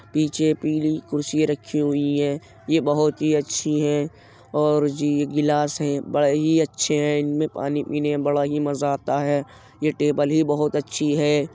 पीछे पीली कुर्सी रखी हुई है ये बोहत ही अच्छी है और जी ग्लास है बड़े ही अच्छे हैं इनमे पानी पीने में बड़ा ही मजा आता है | ये टेबल ही बहुत अच्छी है।